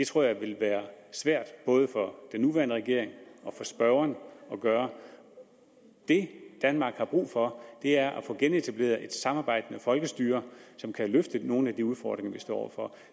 tror jeg vil være svært både for den nuværende regering og for spørgeren at gøre det danmark har brug for er at få genetableret et samarbejdende folkestyre som kan løfte nogle af de udfordringer vi står over for